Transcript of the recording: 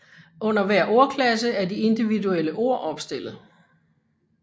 Under hver ordklasse er de individuelle ord opstillet